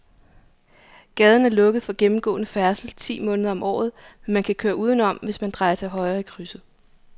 Gaden er lukket for gennemgående færdsel ti måneder om året, men man kan køre udenom, hvis man drejer til højre i krydset.